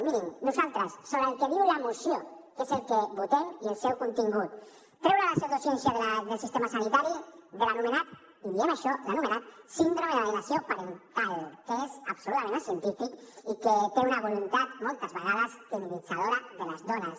mirin nosaltres sobre el que diu la moció que és el que votem i el seu contingut treure la pseudociència del sistema sanitari de l’anomenat i diem això l’anomenat síndrome d’alienació parental que és absolutament acientífic i que té una voluntat moltes vegades criminalitzadora de les dones